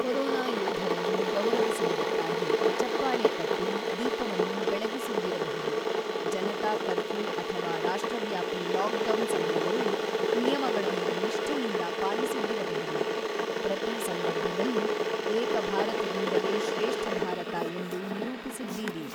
Corona ಯೋಧರನ್ನು ಗೌರವಿಸುವುದಕ್ಕಾಗಿ ಚಪ್ಪಾಳೆ ತಟ್ಟಿ, ದೀಪವನ್ನು ಬೆಳಗಿಸಿದ್ದಿರಬಹುದು, ಜನತಾ ಕರ್ಫ್ಯೂ ಅಥವಾ ರಾಷ್ಟ್ರವ್ಯಾಪಿ ಲಾಕ್ಡೌನ್ ಸಮಯದಲ್ಲಿ ನಿಯಮಗಳನ್ನು ನಿಷ್ಠೆಯಿಂದ ಪಾಲಿಸಿದ್ದಿರಬಹುದು, ಪ್ರತಿ ಸಂದರ್ಭದಲ್ಲೂ ಏಕ ಭಾರತದಿಂದಲೇ ಶ್ರೇಷ್ಠಭಾರತ ಎಂದು ನಿರೂಪಿಸಿದ್ದೀರಿ.